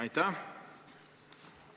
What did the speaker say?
Aitäh!